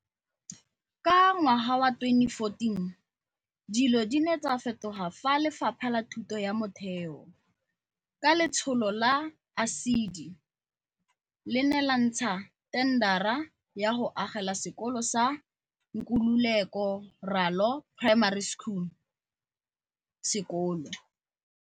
Ka ngwaga wa 2014, dilo di ne tsa fetoga fa Lefapha la Thuto ya Motheo, ka letsholo la ASIDI, le ne la ntsha thendara ya go agela sekolo sa Nkululeko Ralo Primary School sekolo.